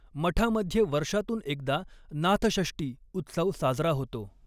मठामध्ये वर्षातून एकदा नाथषष्ठी उत्सव साजरा होतो.